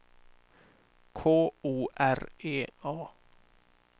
K O R E A